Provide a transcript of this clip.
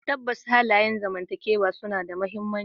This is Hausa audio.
Tabbas, halayen zamantakewa suna da mahimmanci.